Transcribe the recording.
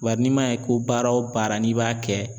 Wa n'i m'a ye ko baara o baara n'i b'a kɛ